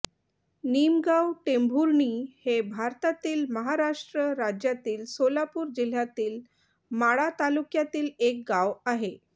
निमगाव टेंभुर्णी हे भारतातील महाराष्ट्र राज्यातील सोलापूर जिल्ह्यातील माढा तालुक्यातील एक गाव आहे